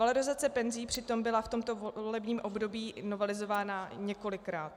Valorizace penzí přitom byla v tomto volebním období novelizována několikrát.